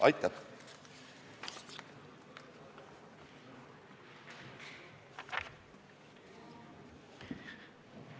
Aitäh!